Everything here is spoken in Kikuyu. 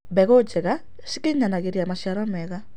Mbegũ njega cĩkĩnyanagĩrĩa macĩaro mega